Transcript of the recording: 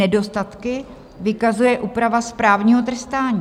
Nedostatky vykazuje úprava správního trestání."